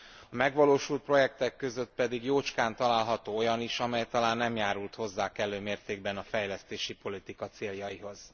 A megvalósult projektek között pedig jócskán találaható olyan is, amely talán nem járult hozzá kellő mértékben a fejlesztési politika céljaihoz.